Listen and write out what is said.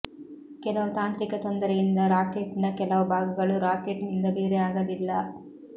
ಕೆಲವು ತಾಂತ್ರಿಕ ತೊಂದರೆಯಿಂದ ರಾಕೆಟ್ ನ ಕೆಲವು ಬಾಗಗಳು ರಾಕೆಟ್ ನಿಂದ ಬೇರೆ ಆಗಲಿಲ್ಲ